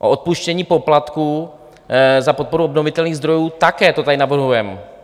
O odpuštění poplatků za podporu obnovitelných zdrojů, také to tady navrhujeme.